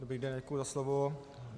Dobrý den, děkuji za slovo.